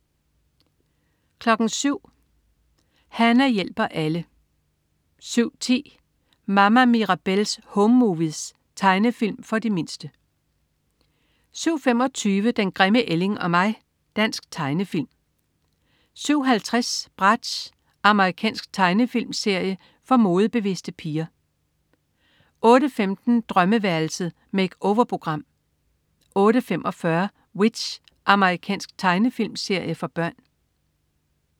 07.00 Hana hjælper alle 07.10 Mama Mirabelle's Home Movies. Tegnefilm for de mindste 07.25 Den grimme ælling og mig. Dansk tegnefilm 07.50 Bratz. Amerikansk tegnefilmserie for modebevidste piger 08.15 Drømmeværelset. Make-over-program 08.45 W.i.t.c.h. Amerikansk tegnefilmserie for børn